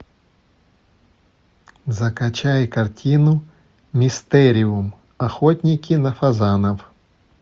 закачай картину мистериум охотники на фазанов